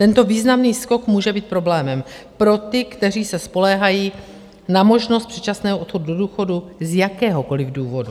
Tento významný skok může být problémem pro ty, kteří se spoléhají na možnost předčasného odchodu do důchodu z jakéhokoliv důvodu.